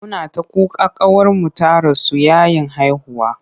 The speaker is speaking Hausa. Muna ta kuka ƙawarmu ta rasu yayin haihuwa.